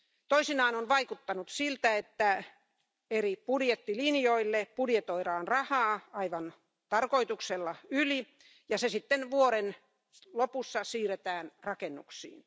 Toisinaan on vaikuttanut siltä, että eri budjettilinjoille budjetoidaan rahaa aivan tarkoituksella yli ja se sitten vuoden lopussa siirretään rakennuksiin.